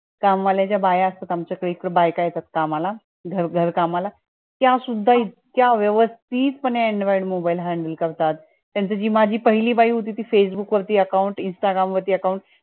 काम वाल्या ज्या बाया असतात आमच्या कडे ज्या बाईक येतात कामाला घर कामाला त्या सुद्धा इतक्या व्यवस्तीत पाने android mobile handle करतात. पण ती जी माझी पहिली बाई होती ती facebook वरती account, intagram वरती account